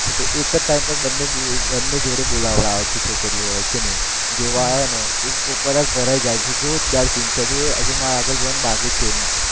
એક જ time પર બંને એમને જોડે બોલવા આવે છે છોકરીઓ હોય છે ને એ, જોવા આવા હોય ને પોપટલાલ ભરાઈ જાય છે જોરદાર scene થાય છે હજુ મારે આગળ જોવાનું બાકી છે એમાં